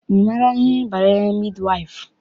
Ị maara ihe banyere midi waịfụ?